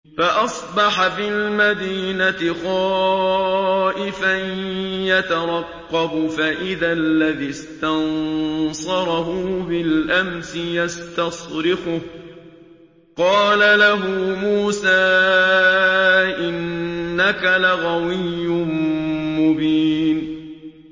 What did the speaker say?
فَأَصْبَحَ فِي الْمَدِينَةِ خَائِفًا يَتَرَقَّبُ فَإِذَا الَّذِي اسْتَنصَرَهُ بِالْأَمْسِ يَسْتَصْرِخُهُ ۚ قَالَ لَهُ مُوسَىٰ إِنَّكَ لَغَوِيٌّ مُّبِينٌ